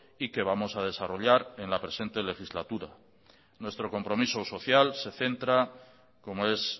y que vamos a desarrollar en la presente legislatura nuestro compromiso social se centra como es